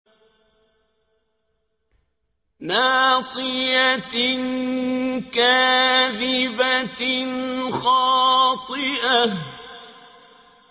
نَاصِيَةٍ كَاذِبَةٍ خَاطِئَةٍ